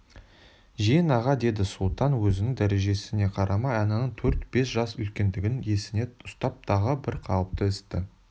жиен аға деді сұлтан өзінің дәрежесіне қарамай ананың төрт-бес жас үлкендігін есіне ұстап тағы бір қауіпті істі